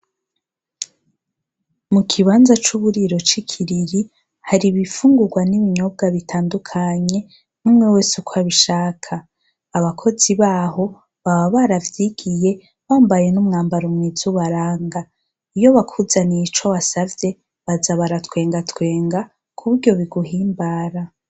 Mu kibanza c'uburiro c'i Kiriri, hari ibifungurwa n'ibinyobwa bitandukanye, umwe wese uko abishaka. Abakozi baho baba baravyigiye, bambaye n'umwambaro mwiza ubaranga. Iyo bakuzaniye ico wasavye, baza baratwengatwenga ku buryo biguhimbara.